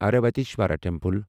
Airavatesvara temple